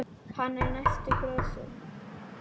Hann er á næstu grösum.